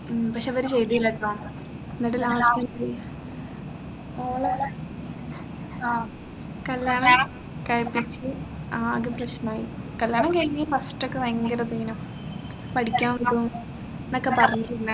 ഉം പക്ഷേ അവർ ചെയ്തില്ലായിരുന്നോ എന്നിട്ട് last ഓളെ ആഹ് കല്യാണം കഴിപ്പിച്ച് ആകെ പ്രശ്നമായി കല്യാണം കഴിഞ്ഞ് first ഒക്കെ ഭയങ്കര ഇതെയ്നു പഠിക്കാൻ വിടും എന്നൊക്കെ പറഞ്ഞിരുന്നു